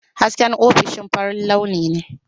Hasken ofishin farin launi ne.